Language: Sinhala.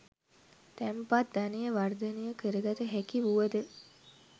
තැන්පත් ධනය වර්ධනය කරගත හැකි වුවද